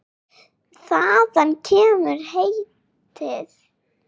Þaðan kemur heitið.